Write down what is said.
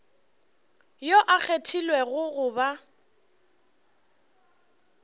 yo a kgethilwego go ba